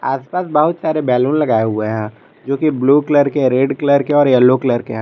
आस पास बहुत सारे बैलून लगाए हुए हैं जोकि ब्लू कलर के रेड कलर के और येलो कलर के है।